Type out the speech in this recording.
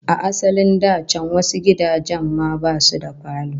A asalin da can wasu gidajen ma basu da falo